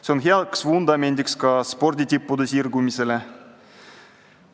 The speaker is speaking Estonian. See on heaks vundamendiks ka sporditippude sirgumisele.